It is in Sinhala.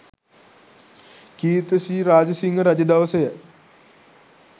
කීර්ති ශ්‍රී රාජසිංහ රජ දවසය.